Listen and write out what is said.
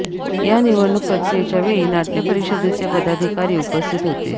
या निवडणूक प्रक्रियेच्या वेळी नाटय़ परिषदेचे पदाधिकारी उपस्थित होते